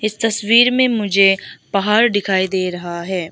तस्वीर में मुझे पहाड़ दिखाई दे रहा है।